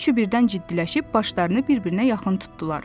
Hər üçü birdən ciddiləşib başlarını bir-birinə yaxın tutdular.